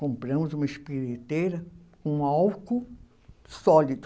compramos uma espiriteira com álcool sólido.